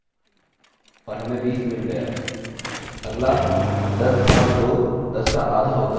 अगला 10 भाग 2 10 का आधा होता है जो कि 5 है